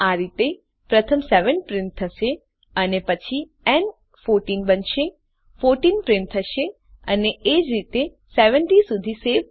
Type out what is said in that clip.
આ રીતે પ્રથમ 7 પ્રિન્ટ થશે અને પછી ન 14 બનશે 14 પ્રિન્ટ થશે અને એ જ રીતે 70 સુધી